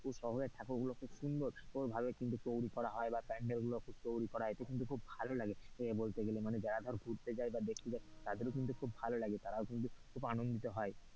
শহরের ঠাকুর গুলো খুব সুন্দর ভাবে তৈরী করা বা প্যান্ডেল গুলো তৈরী করা হয় এতে কিন্তু খুব ভালো লাগে এ মানে বলতে গেলে মানে যারা ধর ঘুরতে হয় বা দেখতে যাই তাদেরও কিন্তু খুব ভালো লাগে তার কিন্তু খুব আনন্দিত হয়।